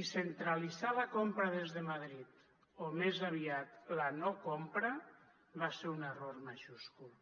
i centralitzar la compra des de madrid o més aviat la no compra va ser un error majúscul